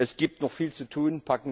Es gibt noch viel zu tun.